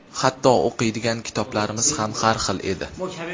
Hatto o‘qiydigan kitoblarimiz ham har xil edi.